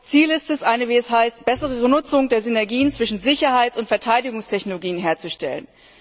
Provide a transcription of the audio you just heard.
Ziel ist es, eine bessere Nutzung der Synergien zwischen Sicherheits und Verteidigungstechnologien herzustellen.